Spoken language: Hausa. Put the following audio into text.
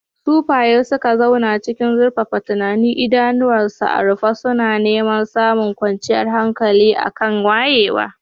Sufaye suka zauna cikin zurfafa tunani, idanunsu a rufe suna neman samun kwanciyar hankali a kan wayewa.